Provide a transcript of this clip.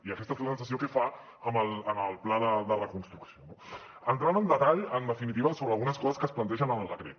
i aquesta és la sensació que fa amb el pla de reconstrucció no entrant en detall en definitiva sobre algunes coses que es plantegen en el decret